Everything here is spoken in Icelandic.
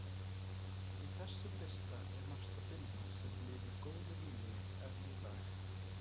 Í þessum lista er margt að finna sem lifir góðu lífi enn í dag.